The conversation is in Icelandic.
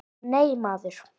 Nei, maður!